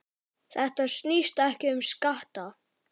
Þetta snýst ekki um skatta.